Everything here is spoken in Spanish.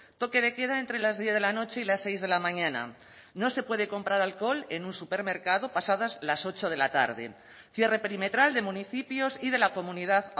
toque de queda entre las diez de la noche y las seis de la mañana no se puede comprar alcohol en un supermercado pasadas las ocho de la tarde cierre perimetral de municipios y de la comunidad